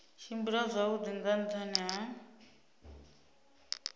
tshimbila zwavhui nga nhani ha